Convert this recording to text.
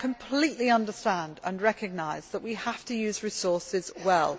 I completely understand and recognise that we have to use resources well.